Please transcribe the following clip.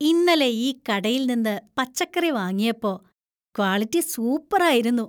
ഇന്നലെ ഈ കടയിൽ നിന്ന് പച്ചക്കറി വാങ്ങിയപ്പോ, ക്വാളിറ്റി സൂപ്പറായിരുന്നു.